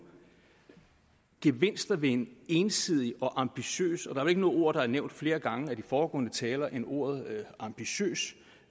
gevinster ved en ensidig og ambitiøs og ikke noget ord der er nævnt flere gange af de foregående taler end ordet ambitiøs